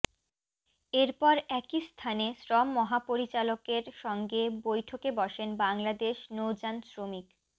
এরপর একই স্থানে শ্রম মহাপরিচালকের সঙ্গে বৈঠকে বসেন বাংলাদেশ নৌযান শ্রমিক